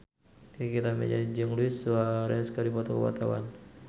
Nikita Mirzani jeung Luis Suarez keur dipoto ku wartawan